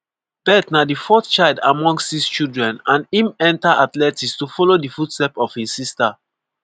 bett na di fourth child among six children and im enta athletics to follow di footsteps of im sister.